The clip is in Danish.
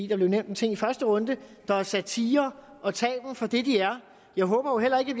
der blev nævnt en ting i første runde der er satire for det de er jeg håber jo heller ikke at